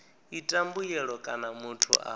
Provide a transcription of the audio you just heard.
ita mbuyelo kana muthu a